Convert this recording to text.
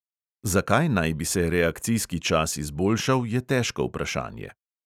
Zakaj naj bi se reakcijski čas izboljšal, je težko vprašanje.